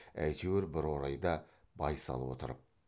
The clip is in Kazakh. әйтеуір бір орайда байсал отырып